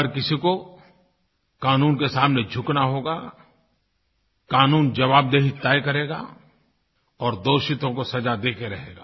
हर किसी को कानून के सामने झुकना होगा कानून ज़बाबदेही तय करेगा और दोषियों को सज़ा दे के रहेगा